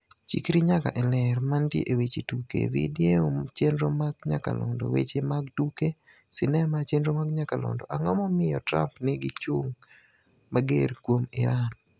Chikri nyaka e Ler. Mantie e weche tuke. Video chenro mag nyakalondo. Weche mag tuke sinema chenro mag nyakalondo. Ang'o momiyo Trump nigi chung' mager kuom Iran?